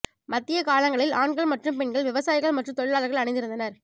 மத்திய காலங்களில் ஆண்கள் மற்றும் பெண்கள் விவசாயிகள் மற்றும் தொழிலாளர்கள் அணிந்திருந்தனர்